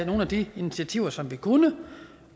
nogle af de initiativer som vi kunne